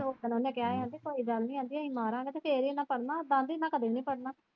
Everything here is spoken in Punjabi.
ਸੁੱਖ ਨਾਲ ਉਹਨੇ ਕਿਹਾ ਆਂਦੀ ਕੋਈ ਗੱਲ ਨੀ ਆਂਟੀ ਅਹੀ ਮਾਰਾਂਗੇ ਫਿਰ ਹੀ ਇੰਨੇ ਪੜਣਾ ਉਦਾਂ ਆਂਟੀ ਇੰਨੇ ਕਦੀ ਨੀ ਪੜਣਾ।